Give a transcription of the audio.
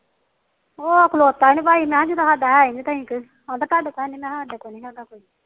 ਉਹ ਖਲੋਤਾ ਨੀ ਭਾਈ ਮੈ ਕਹਿੰਦਾ ਥਾਡਾ ਤਾਨੀ ਮੈ ਸਾਡੀ ਤਾਨੀ ਹੈਗਾ